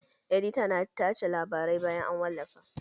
Edita na tace labarai bayan an wallafa